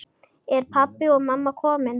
Eru pabbi og mamma komin?